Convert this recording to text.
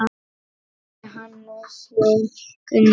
Fyrir á Hannes Jón Gunnar.